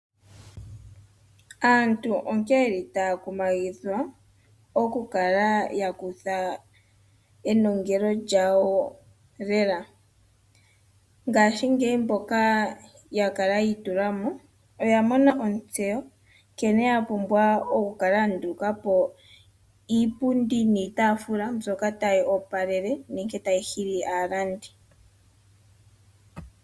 Aantu onkene ye li taa kumagidhwa, okukala ya kutha enongelo lyawo lela. Ngashingeyi mboka ya kala yi itula mo oya mona ontseyo nkene ya pumbwa okukala ya nduluka po iipundi niitaafula mbyoka tayi opalele nenge mbyoka tayi hili aalandi.